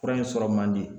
Fura in sɔrɔ man di